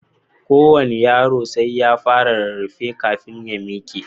Kowane yaro sai ya fara rarrafe kafin ya miƙe.